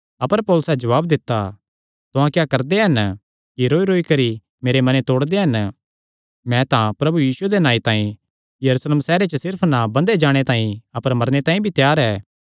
अपर पौलुसैं जवाब दित्ता तुहां क्या करदे हन कि रौईरौई करी मेरे मने तोड़दे हन मैं तां प्रभु यीशुये दे नांऐ तांई यरूशलेम सैहरे च सिर्फ ना बन्धे जाणे तांई अपर मरने तांई भी त्यार ऐ